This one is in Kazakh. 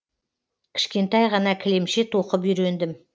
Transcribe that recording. кішкентай ғана кілемше тоқып үйрендім